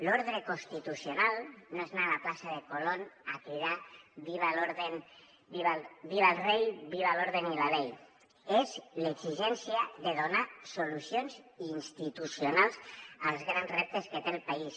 l’ordre constitucional no és anar a la plaça de colón a cridar viva el rey viva el orden y la ley és l’exigència de donar solucions institucionals als grans reptes que té el país